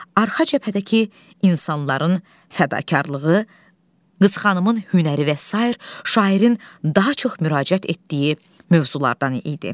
Arxa cəbhədəki insanların fədakarlığı, Qız xanımın hünəri və sair şairin daha çox müraciət etdiyi mövzulardan idi.